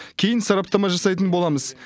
кейін сараптама жасайтын боламыз